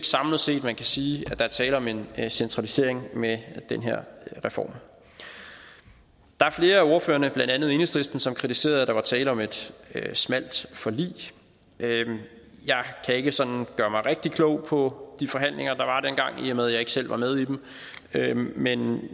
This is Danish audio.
samlet set kan sige at der er tale om en centralisering med den her reform der er flere af ordførerne blandt andet enhedslisten som kritiserede at der var tale om et smalt forlig jeg kan ikke sådan gøre mig rigtig klog på de forhandlinger der var dengang i og med at jeg ikke selv var med i dem men